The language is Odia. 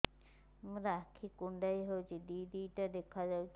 ମୋର ଆଖି କୁଣ୍ଡାଇ ହଉଛି ଦିଇଟା ଦିଇଟା ଦେଖା ଯାଉଛି